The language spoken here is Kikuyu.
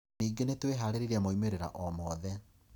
Ningĩ ni twĩ haarĩirie moimĩrĩro omothe".